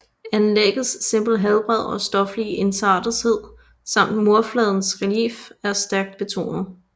Anlæggets simple helhed og stoflige ensartethed samt murfladens relief er stærkt betonet